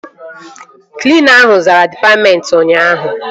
Klina ahụ zara dịpatmentị ụnyaahụ